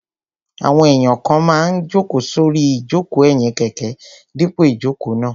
Àwọn èèyàn kan máa n jòkó sórí ìjòkó ẹ̀yìn kẹ̀kẹ́ dípò ìjòkó náà